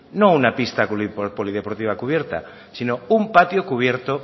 no una pista polideportiva cubierta sino un patio cubierto